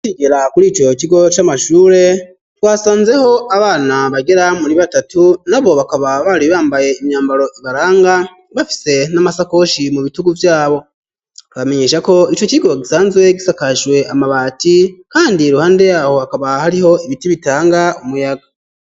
Higera kuri icoro kigo c'amashure twasanzeho abana bagera muri batatu na bo bakaba bari bambaye imyambaro ibaranga bafise n'amasakoshi mu bitugu vyabo bamenyesha ko ico cigo gisanzwe gisakashwe amabati, kandi ruhande yaho hakaba hariho ibiti bitanga umuyaga.